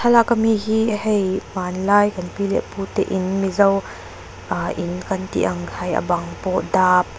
thlalak ami hi hei hmanlai kan pi leh pute in mizo ahh in kan tih ang kha hei a bang pawh dap --